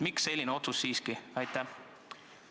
Miks selline otsus siiski tehti?